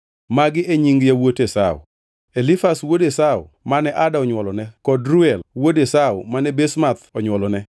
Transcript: Magi e nying yawuot Esau: Elifaz wuod Esau mane Ada onywolone, kod Reuel wuod Esau mane Basemath onywolone.